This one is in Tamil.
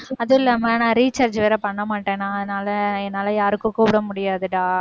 அதுவும் இல்லாம நான் recharge வேற பண்ண மாட்டேனா அதனால என்னால யாருக்கும் கூப்பிட முடியாதுடா